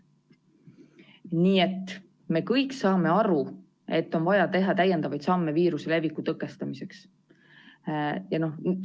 Nii et me kõik saame aru, et on vaja teha täiendavaid samme viiruse leviku tõkestamiseks.